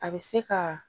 A bɛ se ka